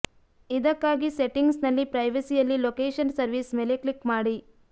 ಇದಕ್ಕಾಗಿ ಸೆಟ್ಟಿಂಗ್ಸ್ ನಲ್ಲಿ ಪ್ರೈವಸಿಯಲ್ಲಿ ಲೋಕೆಷನ್ ಸರ್ವೀಸ್ ಮೇಲೆ ಕ್ಲಿಕ್ ಮಾಡಿ